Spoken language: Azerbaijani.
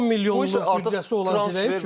10 milyonluq büdcəsi olan Zirə üçün.